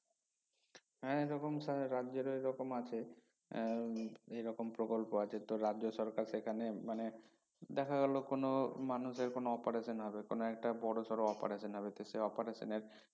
হ্যা এ রকম সা রাজ্যেরও এ রকম আছে এর উম এ রকম প্রকল্প আছে তো রাজ্য সরকার সেখানে মানে দেখা গেলো কোনো মানুষের কোনো operation হবে কোনো একটা বড়সড় operation হবে তো সে operation এর